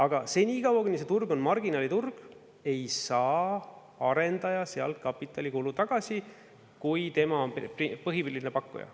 Aga senikaua, kuni see turg on marginaliturg, ei saa arendaja sealt kapitalikulu tagasi, kui tema on põhiline pakkuja.